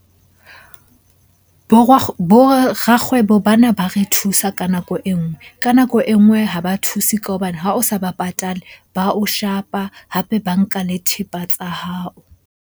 Bo rakgwebo bana ba re thusa ka nako e nngwe, ka nako e nngwe ha ba thuse ka hobane ha o sa ba patale, ba o shapa, hape ba nka le thepa tsa hao.